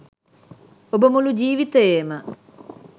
ඔබ මුළු ජීවිතයේම